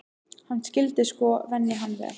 Hann skyldi sko venja hann vel.